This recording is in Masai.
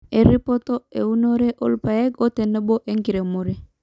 Eripoto eunore oo rrpaek otenebo enkiremore